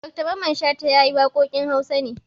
Dr Mamman Shata ya yi waƙoƙin Hausa ne.